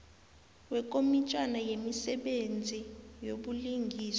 wekomitjhana yemisebenzi yobulungiswa